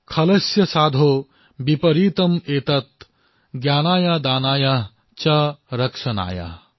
খলস্য সাধৌঃ বিপৰীতমঃ এতত জ্ঞানায় দানায় চ ৰক্ষণায়